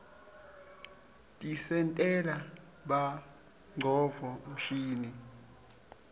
tisentela bongcondvo mshini